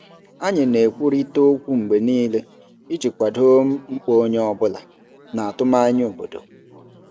Anyị na-ekwurịta okwu mgbe niile iji kwado mkpa onye ọ bụla na atụmanya obodo.